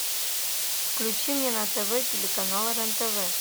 включи мне на тв телеканал рен тв